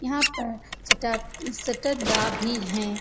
यहाँ पर शतट सततडा भी हैं।